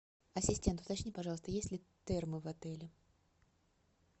ассистент уточни пожалуйста есть ли термы в отеле